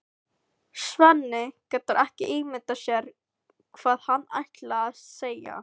Svenni getur ekki ímyndað sér hvað hann ætlar að segja.